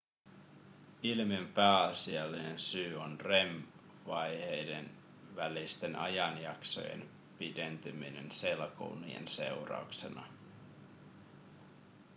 ilmiön pääasiallinen syy on rem-vaiheiden välisten ajanjaksojen pidentyminen selkounien seurauksena